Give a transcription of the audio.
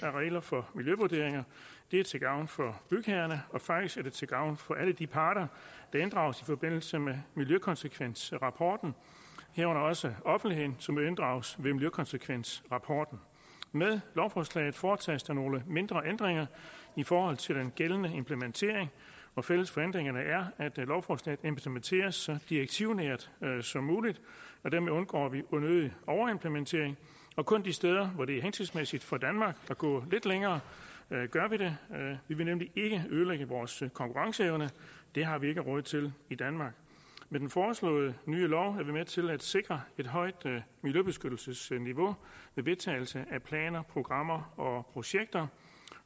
regler for miljøvurderinger det er til gavn for bygherrerne og faktisk er det til gavn for alle de parter der inddrages i forbindelse med miljøkonsekvensrapporten herunder også offentligheden som jo inddrages i miljøkonsekvensrapporten med lovforslaget foretages der nogle mindre ændringer i forhold til den gældende implementering og fælles for ændringerne er at lovforslaget implementeres så direktivnært som muligt og dermed undgår vi unødig overimplementering og kun de steder hvor det er hensigtsmæssigt for danmark at gå lidt længere gør vi det vi vil nemlig ikke ødelægge vores konkurrenceevne det har vi ikke råd til i danmark med den foreslåede nye lov er vi med til at sikre et højt miljøbeskyttelsesniveau ved vedtagelse af planer programmer og projekter